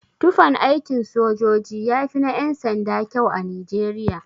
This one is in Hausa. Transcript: Tufan aikin sojoji yafi na yan-sanda kyau a nijeriya.